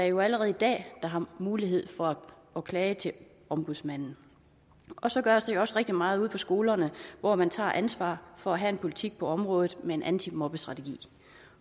jo allerede i dag mulighed for at klage til ombudsmanden så gøres der jo også rigtig meget ude på skolerne hvor man tager ansvar for at have en politik på området med en antimobningsstrategi